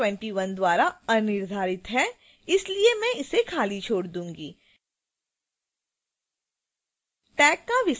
दूसरा संकेतक marc 21 द्वारा अनिर्धारित है इसलिए मैं इसे खाली छोड़ दूंगी